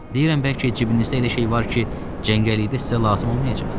Deyirəm bəlkə cibinizdə elə şey var ki, cəngəllikdə sizə lazım olmayacaq?